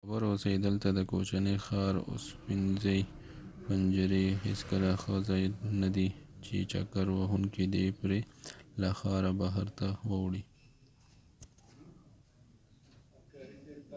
باخبره اوسئ دلته د کوچني ښار اوسپنیزې پنجرې هیڅکله ښه ځای نه دی چې چکر وهونکې دې پرې له ښار بهر ته واوړي